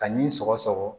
Ka nin sɔgɔsɔgɔ